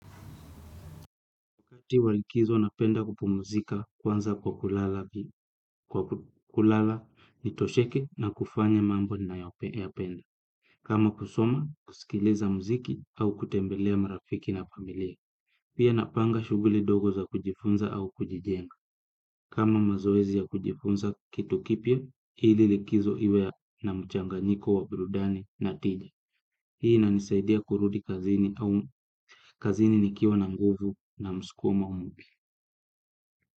Wakati wa likizo napenda kupumzika kwanza kwa kulala nitosheke na kufanya mambo ninayoyapenda. Kama kusoma, kusikiliza muziki au kutembelea marafiki na familia. Pia napanga shughuli dogo za kujifunza au kujijenga. Kama mazoezi ya kujifunza kitu kipya, ili likizo iwe na mchanganyiko wa burudani na tija. Hii inanisaidia kurudi kazini au kazini nikiwa na nguvu na msukumo mpya.